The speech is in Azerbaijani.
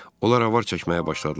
Onlar avar çəkməyə başladılar.